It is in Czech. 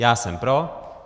Já jsem pro.